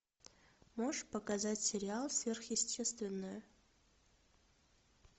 можешь показать сериал сверхъестественное